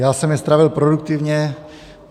Já jsem je strávil produktivně.